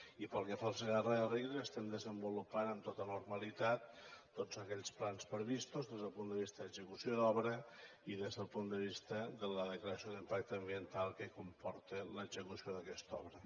i pel que fa al segarra garrigues estem desenvolupant amb tota normalitat tots aquells plans previstos des del punt de vista d’execució d’obra i des del punt de vista de la declaració d’impacte ambiental que comporta l’execució d’aquesta obra